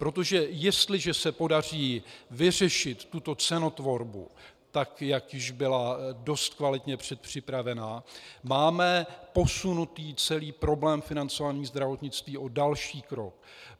Protože jestliže se podaří vyřešit tuto cenotvorbu, tak jak již byla dost kvalitně předpřipravena, máme posunutý celý problém financování zdravotnictví o další krok.